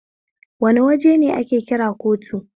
Wane waje ne ake kira kotu?